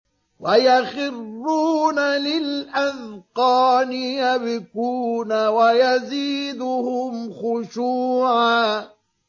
وَيَخِرُّونَ لِلْأَذْقَانِ يَبْكُونَ وَيَزِيدُهُمْ خُشُوعًا ۩